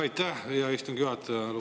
Aitäh, hea istungi juhataja!